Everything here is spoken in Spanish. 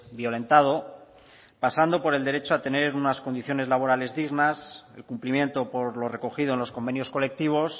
violentado pasando por el derecho a tener unas condiciones laborales dignas el cumplimiento por lo recogido en los convenios colectivos